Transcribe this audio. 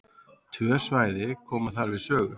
Tvö svæði koma þar við sögu.